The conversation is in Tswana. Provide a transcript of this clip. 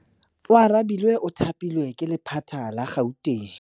Oarabile o thapilwe ke lephata la Gauteng.